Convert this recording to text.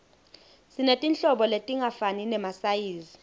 sinetinhlobo letingafani temasayizi